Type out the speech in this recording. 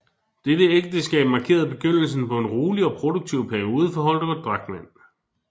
Deres ægteskab markerede begyndelsen på en rolig og produktiv periode for Holger Drachmann